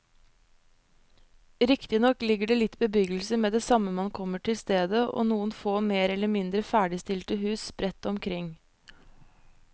Riktignok ligger det litt bebyggelse med det samme man kommer til stedet og noen få mer eller mindre ferdigstilte hus sprett rundt omkring.